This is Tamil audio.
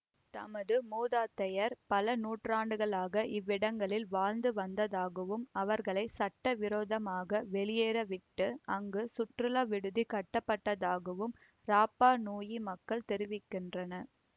தமது மூதாந்தையர் பல நூற்றாண்டுகளாக இவ்விடங்களில் வாழ்ந்து வந்ததாகவும் அவர்களை சட்டவிரோதமாக வெளியேற்றிவிட்டு அங்கு சுற்றுலா விடுதி கட்டப்பட்டதாகவும் ராப்பா நூயி மக்கள் தெரிவிக்கின்றனர்